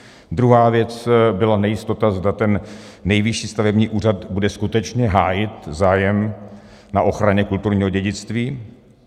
Druhá věc byla nejistota, zda ten Nejvyšší stavební úřad bude skutečně hájit zájem na ochraně kulturního dědictví.